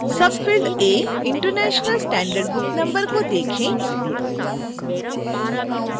field a international standard book number को देखें